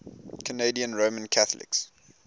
canadian roman catholics